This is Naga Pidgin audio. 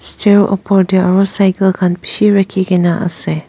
stair opor tae aro cycle khan bishi rakhikaena ase.